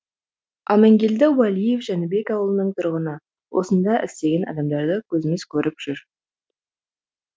амангелді уәлиев жәнібек ауылының тұрғыны осында істеген адамдарды көзіміз көріп жүр